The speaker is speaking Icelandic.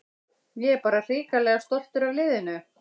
Ég er bara hrikalega stoltur af liðinu.